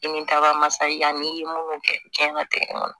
Ni min ta ka masa yanni i ye mun kɛ diɲɛ latigɛ kɔnɔ